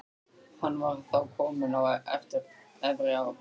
Hann var þá kominn á efri ár.